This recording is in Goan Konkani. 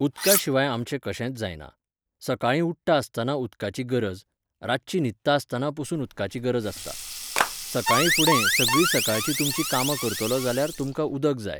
उदका शिवाय आमचे कशेंच जायना. सकाळीं उठ्ठा आसतना उदकाची गरज, रातची न्हिदता आसतना पसून उदकाची गरज आसता. सकाळीं फुडें, सगळीं सकाळचीं तुमचीं कामां करतलो जाल्यार तुमकां उदक जाय